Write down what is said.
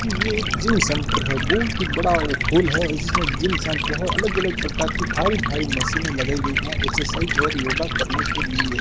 ये एक gym centre है बहुत ही बड़ा हॉल है उसमे जिम सेंटर है अलग-अलग प्रकार की भारी-भारी मशीन लगाई गई है एक्सरसाइज और योगा करने के लिए।